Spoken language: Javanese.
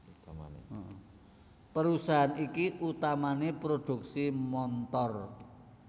Perusahaan iki utamané prodhuksi montor